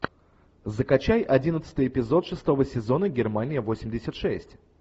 закачай одиннадцатый эпизод шестого сезона германия восемьдесят шесть